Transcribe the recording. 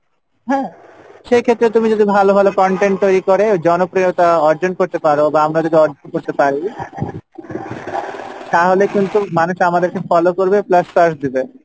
হ্যাঁ সেইক্ষেত্রে তুমি যদি ভালো ভালো content তৈরি করে জনপ্রিয়তা অর্জন করতে পারো বা আমরা যদি অর্জন করতে পারি তাহলে কিন্তু মানুষ আমাদেরকে follow করবে plus search দিবে,